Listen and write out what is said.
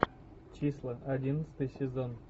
числа одиннадцатый сезон